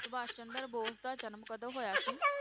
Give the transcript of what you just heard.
ਸੁਭਾਸ਼ ਚੰਦਰ ਬੋਸ ਦਾ ਜਨਮ ਕਦੋਂ ਹੋਇਆ ਸੀ?